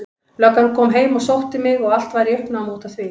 Löggan kom heim og sótti mig og allt var í uppnámi út af því.